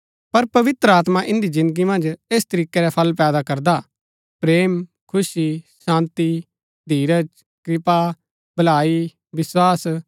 पर पवित्र आत्मा इन्दी जिन्दगी मन्ज ऐस तरीकै रै फल पैदा करदा हा प्रेम खुशी शान्ती धीरज कृपा भलाई विस्वास